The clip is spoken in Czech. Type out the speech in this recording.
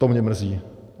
To mě mrzí.